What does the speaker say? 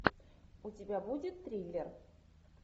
у тебя будет триллер